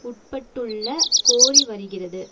உட்பட்டுள்ள கோரி வருகிறது